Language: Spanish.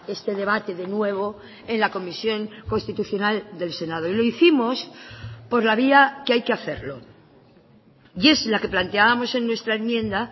este debate de nuevo en la comisión constitucional del senado y lo hicimos por la vía que hay que hacerlo y es la que planteábamos en nuestra enmienda